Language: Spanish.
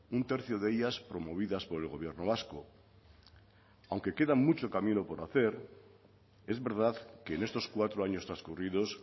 un tercio de ellas promovidas por el gobierno vasco aunque queda mucho camino por hacer es verdad que en estos cuatro años transcurridos